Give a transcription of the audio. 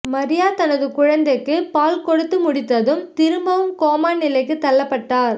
மரியா தனது குழந்தைக்கு பால் கொடுத்து முடித்ததும் திரும்பவும் கோமா நிலைக்கு தள்ளப்பட்டார்